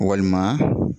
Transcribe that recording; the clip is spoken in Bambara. Walima